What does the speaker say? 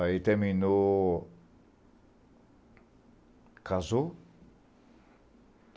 Aí terminou... Casou.